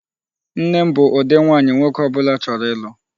Nne m bụ ụdị nwaanyị nwoke ọbụla chọrọ ịlụ.